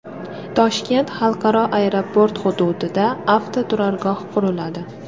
Toshkent xalqaro aeroport hududida avtoturargoh quriladi.